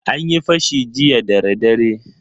An yi fashi jiya dara dare.